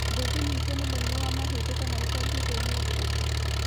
Ndũngĩnyitwo nĩ mũrimũ wa mahĩndĩ kana ũtambie kwĩ mũndũ ũngĩ